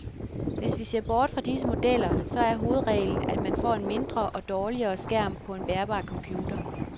Hvis vi ser bort fra disse modeller, så er hovedreglen, at man får en mindre og dårligere skærm på en bærbar computer.